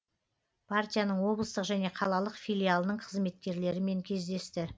партияның облыстық және қалалық филиалының қызметкерлерімен кездесті